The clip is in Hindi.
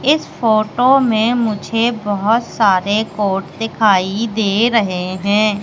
इस फोटो में मुझे बहोत सारे कोड दिखाई दे रहे हैं।